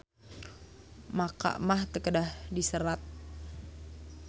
MAKA mah teu kedah diserat.